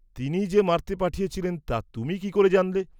তিনিই যে মারতে পাঠিয়েছিলেন তা তুমি কি করে জানলে?